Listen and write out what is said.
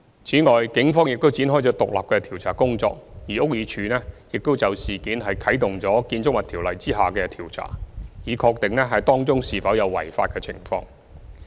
此外，警方已展開獨立的調查工作，而屋宇署亦已就事件啟動《建築物條例》下的調查，以確定當中是否有違法的情況。